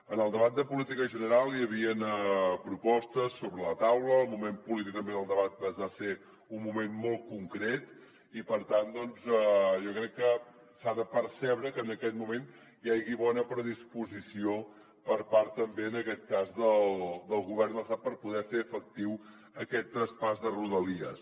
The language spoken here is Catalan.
en el debat de política general hi havien propostes sobre la taula el moment polític també del debat va ser un moment molt concret i per tant doncs jo crec que s’ha de percebre que en aquest moment hi hagi bona predisposició per part també en aquest cas del govern de l’estat per poder fer efectiu aquest traspàs de rodalies